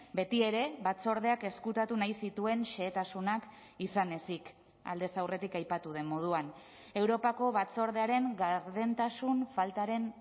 betiere batzordeak ezkutatu nahi zituen xehetasunak izan ezik aldez aurretik aipatu den moduan europako batzordearen gardentasun faltaren